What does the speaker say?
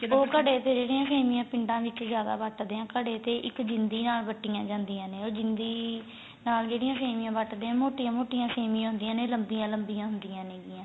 ਉਹ ਘੜੇ ਤੇ ਜਿਹੜੀਆ ਸੇਮੀਆਂ ਪਿੰਡਾ ਵਿੱਚ ਜਿਆਦਾ ਵੱਟਦੇ ਏ ਘੜੇ ਤੇ ਇੱਕ ਜਿੰਦੀ ਨਾਲ ਵੱਟੀਆਂ ਜਾਂਦੀਆਂ ਨੇ ਉਹ ਜਿੰਦੀ ਨਾਲ ਜਿਹੜੀ ਸੇਮੀਆਂ ਵੱਟਦੇ ਆ ਮੋਟੀਆਂ ਮੋਟੀਆਂ ਸੇਮੀਆਂ ਹੁੰਦੀਆਂ ਨੇ ਲੰਬੀਆਂ ਲੰਬੀਆਂ ਹੁੰਦੀਆਂ ਨੇ ਗੀਆਂ